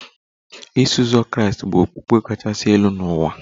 Iso uzọ Kraịst bụ okpukpe kachasị elu n'ụwa